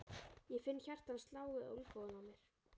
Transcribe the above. Ég finn hjarta hans slá við olnbogann á mér.